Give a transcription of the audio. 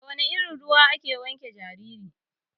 Da wana irin ruwa ake wanke jariri?